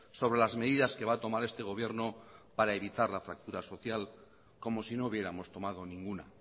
sobre las medidas que va a tomar este gobierno para evitar la fractura social como si no hubiéramos tomado ninguna